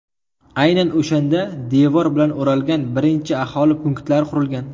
Aynan o‘shanda devor bilan o‘ralgan birinchi aholi punktlari qurilgan.